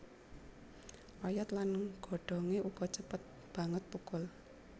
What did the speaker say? Oyot lan godhongé uga cepet banget thukul